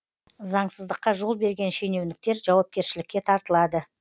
заңсыздыққа жол берген шенеуніктер жауапкершілікке тартылады